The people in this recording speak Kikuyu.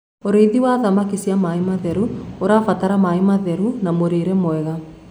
ũrĩithi wa thamakĩ cia maĩ matheru ũrabatara maĩ matheru na mũrĩre mwega